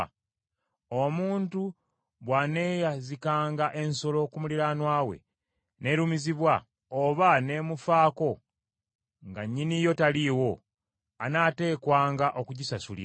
“Omuntu bw’aneeyazikanga ensolo ku muliraanwa we, n’erumizibwa, oba n’emufaako nga nnyini yo taliiwo, anaateekwanga okugisasulira.